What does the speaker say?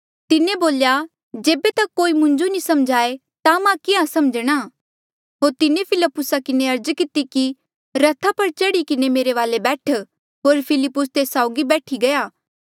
तिन्हें बोल्या जेबे तक कोई मुंजो नी समझाए ता मां किहाँ समझणा होर तिन्हें फिलिप्पुसा किन्हें अर्ज किती कि रथा पर चढ़ी किन्हें मेरे वाले बैठ होर फिलिप्पुस तेस साउगी बैठी गया